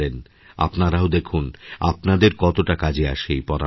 আপনারাও দেখুন আপনাদেরকতোটা কাজে আসে এই পরামর্শ